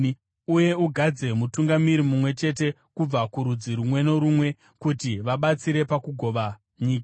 Uye ugadze mutungamiri mumwe chete kubva kurudzi rumwe norumwe kuti vabatsire pakugova nyika.